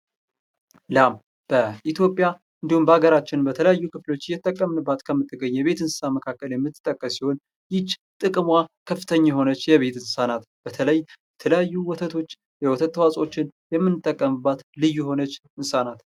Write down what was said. ላም ፡ በኢትዮጵያ የተለያዩ አካባቢዎች እየተጠቀምብንባት የሚንገኝ የቤት እንሰሳት የምትጠቀስ ሲሆን ይች ጥቅማማ የሆነች የቤት እንሰሳ ናት። በተለይ ወተቶች፣ የወተት ተዋጾውችን የምንጠቀምባት ልይ የሆነች እንሰሳ ናት።